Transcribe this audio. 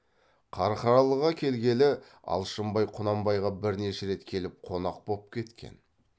қарқаралыға келгелі алшынбай құнанбайға бірнеше рет келіп қонақ боп кеткен